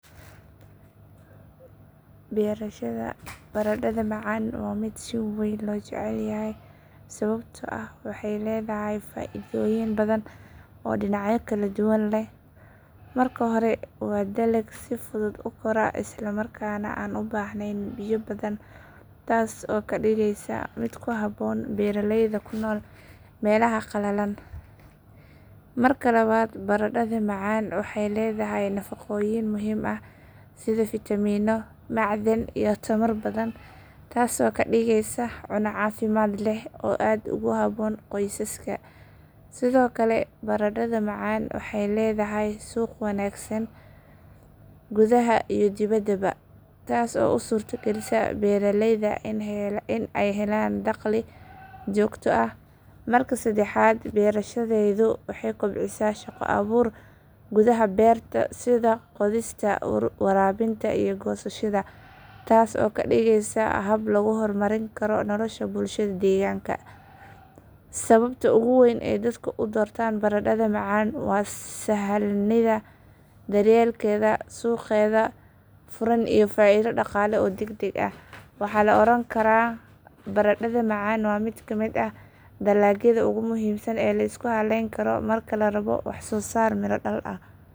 Beerashada baradhada macaan waa mid si weyn loo jecel yahay sababtoo ah waxay leedahay faaidooyin badan oo dhinacyo kala duwan leh. Marka hore waa dalag si fudud u kora isla markaana aan u baahnayn biyo badan, taas oo ka dhigaysa mid ku habboon beeraleyda ku nool meelaha qalalan. Marka labaad baradhada macaan waxay leedahay nafaqooyin muhiim ah sida fiitamiinno, macdano iyo tamar badan taasoo ka dhigaysa cunno caafimaad leh oo aad ugu habboon qoysaska. Sidoo kale baradhada macaan waxay leedahay suuq wanaagsan gudaha iyo dibaddaba, taas oo u suurtagelisa beeraleyda in ay helaan dakhli joogto ah. Marka saddexaad, beerashadeedu waxay kobcisaa shaqo abuur gudaha beerta sida qodista, waraabinta iyo goosashada, taas oo ka dhigaysa hab lagu horumarin karo nolosha bulshada deegaanka. Sababta ugu weyn ee dadka u doortaan baradhada macaan waa sahlanida daryeelkeeda, suuqeeda furan iyo faaido dhaqaale oo degdeg ah. Waxaa la oran karaa baradhada macaan waa mid ka mid ah dalagyada ugu muhiimsan ee la isku halleyn karo marka la rabo wax soo saar miro dhal ah.